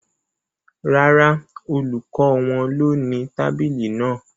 Rárá, olùkọ́ wọn ló ni tábìlì náà